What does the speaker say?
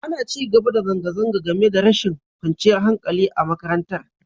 Ana ci gaba da zanga-zanga, game da rashin kwanciyar hankali a makarantar.